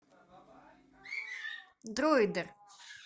дроидер